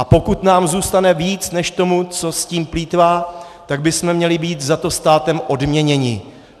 A pokud nám zůstane víc než tomu, co s tím plýtvá, tak bychom měli být za to státem odměněni.